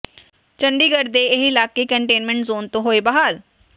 ਚੰਡੀਗੜ੍ਹ ਦੇ ਇਹ ਇਲਾਕੇ ਕੰਟੇਨਮੈਂਟ ਜ਼ੋਨ ਤੋਂ ਹੋਏ ਬਾਹਰ